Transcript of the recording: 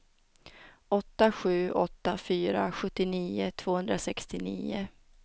åtta sju åtta fyra sjuttionio tvåhundrasextionio